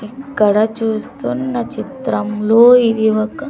ఇక్కడ చూస్తున్న చిత్రంలో ఇది ఒక--